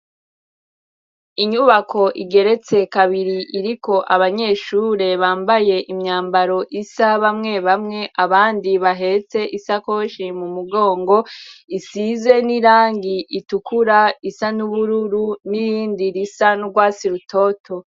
Inyubako igeretse kabiri iriko abanyeshure bambaye imyambaro isa bamwe bamwe, abandi bahetse isakoshi mu mugongo, isize n'irangi itukura, isa n'ubururu n'irindi risa n'urwatsi rutoto.